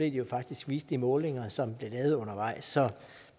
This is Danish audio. jo faktisk viste de målinger som blev lavet undervejs så